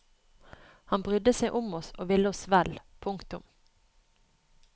Han brydde seg om oss og ville oss vel. punktum